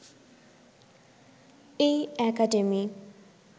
এই একাডেমি